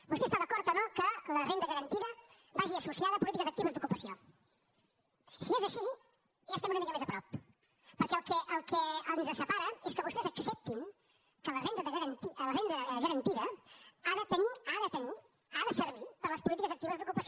vostè està d’acord o no que la renda garantida vagi associada a polítiques actives d’ocupació si és així ja estem una mica més a prop perquè el que ens separa és que vostès acceptin que la renda garantida ha de tenir ha de tenir ha de servir per a les polítiques actives d’ocupació